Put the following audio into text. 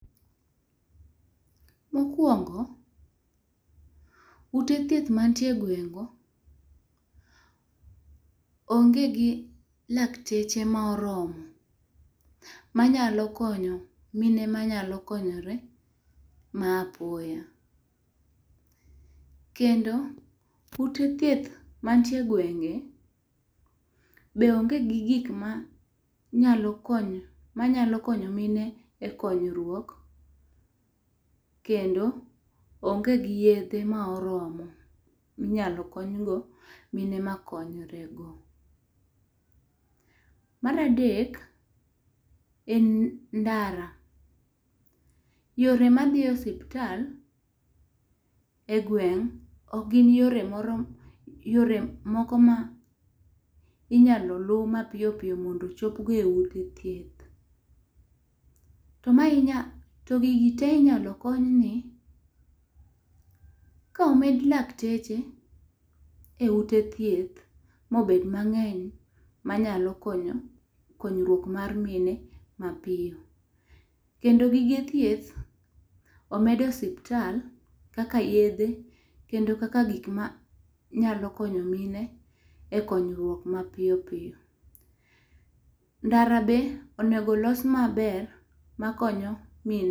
Mo okuongo, ute thieth ma nitie e gweng' go, onge lakteche ma oromo ma nyalo konyo mine ma nyalo konyore ma apoya. Kendo ute thieth ma nitie e gwenge be onge gi gik ma nyalo konyo mine e konyruok kendo onge gi yedhe ma oromo ma inyalo kony go mine ma konyre go. Mar adek, en ndara. Yore ma dhi osiptal e gweng ok gin yore moko ,yore moko mi inya luu ma piyo piyo mondo ochop go e ute thieth. To ma inya ti gigi te inya kony ni ka omed lakteche e ute thieth ma obet mang'eny ma nyalo konyo konyruok mar mine ma piyo kendo gige thieth omed e osiptal kaka yedhe, kendo kaka gik ma nyalo konyo mine e konyruok ma piyo piyo. Ndara be onego olos ma ber ma konyo mine.